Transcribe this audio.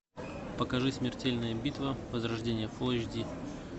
покажи смертельная битва возрождение фул эйч ди